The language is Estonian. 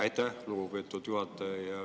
Aitäh, lugupeetud juhataja!